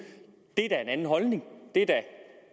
det er da en anden holdning det er da